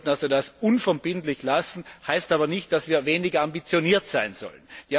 Wir sollten das unverbindlich lassen, das heißt aber nicht, dass wir weniger ambitioniert sein sollen.